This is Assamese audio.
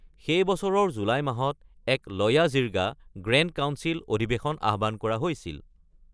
সেই বছৰৰ জুলাই মাহত এক লয়া জিৰ্গা (গ্ৰেণ্ড কাউন্সিল) অধিৱেশন আহ্বান কৰা হৈছিল।